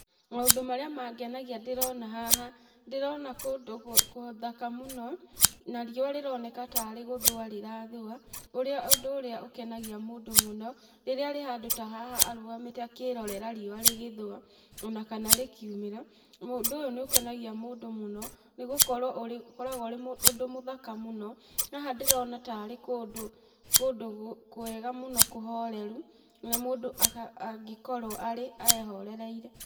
Maũndũ marĩa mangenagia ndĩrona haha, ndĩrona kũndũ gũthaka mũno, na riũa rĩroneka tarĩ gũthũa rĩra thũa, ũndũ ũrĩa ũkengaia mũndũ mũno, rĩrĩa arĩ handũ ta haha arũgamĩte akĩrorera riũa rĩgĩthũa ona kana rĩkiumĩra. Ũndũ ũyũ nĩ ũkenagia mũndũ mũno, nĩ gũkorwo ũkoragwo ũrĩ ũndũ mũthaka mũno. Haha ndĩrona ta arĩ kũndũ, kũndũ kwega mũno kũhoreru na mũndũ angĩkorwo arĩ, ehorereire.